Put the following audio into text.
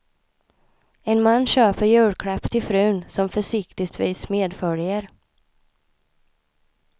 En man köper julklapp till frun, som försiktigtvis medföljer.